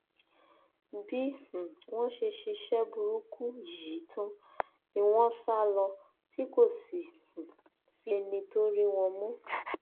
bí um wọn ṣe ṣiṣẹ burúkú yìí tán ni wọn sá lọ tí kò sì um sí ẹni tó rí wọn mú